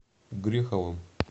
греховым